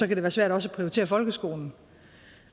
kan det være svært også at prioritere folkeskolen